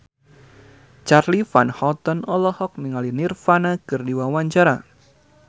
Charly Van Houten olohok ningali Nirvana keur diwawancara